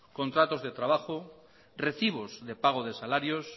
contratos de trabajo recibos de pago de salarios